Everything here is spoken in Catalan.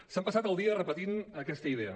s’han passat el dia repetint aquesta idea